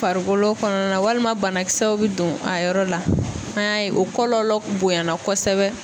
Farikolo kɔnɔna walima banakisɛw bɛ don a yɔrɔ la. An y'a ye o kɔlɔlɔ bonyana kɔsɛbɛ.